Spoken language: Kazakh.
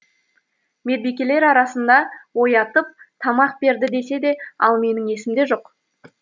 медбикелер арасында оятып тамақ берді десе де ал менің есімде жоқ